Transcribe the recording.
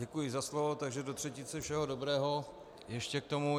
Děkuji za slovo, takže do třetice všeho dobrého ještě k tomu.